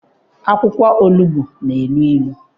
Akwụkwọ onugbu na-enu inu